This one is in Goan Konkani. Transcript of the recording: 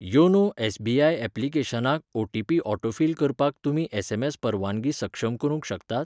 योनो एस.बी.आय ऍप्लिकेशनाक ओटीपी ऑटोफिल करपाक तुमी एसएमएस परवानगी सक्षम करूंक शकतात?